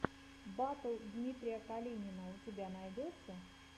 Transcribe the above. батл дмитрия калинина у тебя найдется